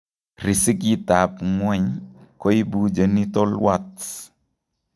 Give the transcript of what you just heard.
Riskitab ng'weny koibu genital warts